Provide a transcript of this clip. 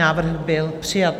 Návrh byl přijat.